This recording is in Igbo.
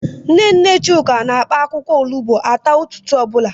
Nne nne Chuka na-akpa akwụkwọ olugbo ata ụtụtụ ọ bụla.